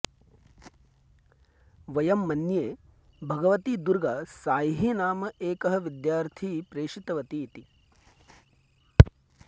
वयं मन्ये भगवती दुर्गा सांईः नाम एकः विद्यार्थी प्रेषितवती इति